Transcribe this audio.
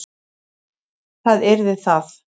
Það yrði það.